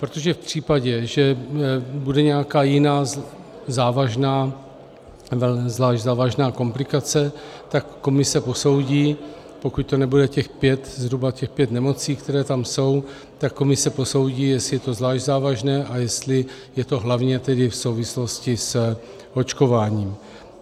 Protože v případě, že bude nějaká jiná závažná, zvlášť závažná komplikace, tak komise posoudí, pokud to nebude těch pět, zhruba těch pět nemocí, které tam jsou, tak komise posoudí, jestli je to zvlášť závažné a jestli je to hlavně tedy v souvislosti s očkováním.